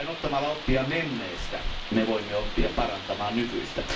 Vain ottamalla oppia menneestä me voimme oppia parantamaan nykyistä.